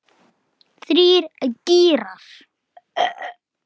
Aðgát, aðgát, ekki mátti nykra.